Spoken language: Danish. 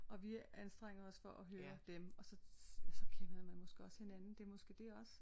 Og vi anstrenger os for at høre dem og så kender man måske også hinanden det er måske det også